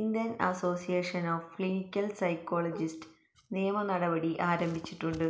Indian association of clinical psychologist നിയമ നടപടി ആരംഭിച്ചിട്ടുണ്ട്